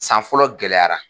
San fɔlɔ gɛlɛyara.